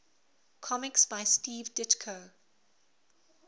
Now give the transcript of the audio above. comics by steve ditko